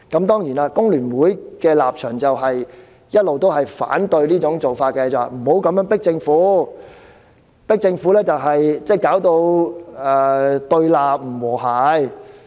當然，工聯會的立場一直也是反對這做法，認為不應這樣壓迫政府，以免引致對立、不和諧。